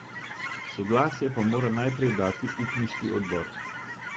Soglasje pa mora najprej dati upniški odbor.